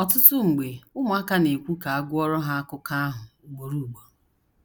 Ọtụtụ mgbe ụmụaka na - ekwu ka a gụọrọ ha akụkọ ahụ ugboro ugboro.